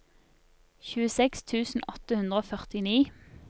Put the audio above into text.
tjueseks tusen åtte hundre og førtini